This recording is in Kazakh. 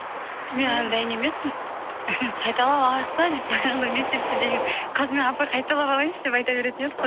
мен әлі дайын емеспін қайталап алайық та деп баяғыда мектепте деген қазір мен апай қайталап алайыншы деп айта беретін едік